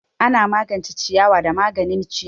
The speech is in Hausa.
Ana magance ciyawa da maganin ciyawa.